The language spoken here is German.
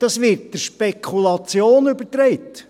– Das wird der Spekulation übertragen.